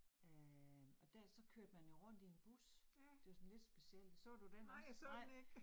Øh og der, så kørte man jo rundt i en bus, det var sådan lidt specielt. Så du den også? Nej